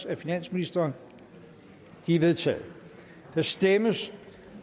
af finansministeren de er vedtaget der stemmes